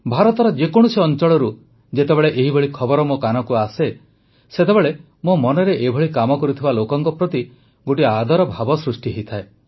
ଭାରତର ଯେକୌଣସି ଅଂଚଳରୁ ଯେତେବେଳେ ଏହିଭଳି ଖବର ମୋ କାନକୁ ଆସେ ସେତେବେଳେ ମୋ ମନରେ ଏଭଳି କାମ କରୁଥିବା ଲୋକଙ୍କ ପ୍ରତି ଗୋଟିଏ ଆଦର ଭାବ ସୃଷ୍ଟି ହୋଇଥାଏ